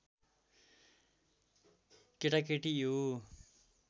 केटाकेटी यो